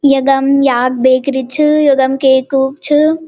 यदम याक बेकरी छ यदम केक कूक छ।